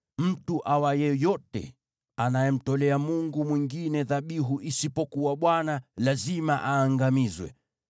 “Mtu awaye yote anayemtolea mungu mwingine dhabihu isipokuwa Bwana , lazima aangamizwe.